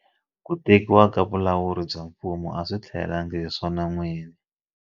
Ku tekiwa ka vulawuri bya mfumo a swi tihelelangi hi swona n'wini.